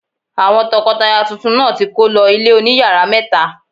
Àwọn tọkọtaya tuntun náà ti kó lọ ilé oní yàrá mẹ́ta.